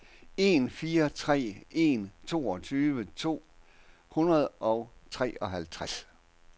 en fire tre en toogtyve to hundrede og treoghalvtreds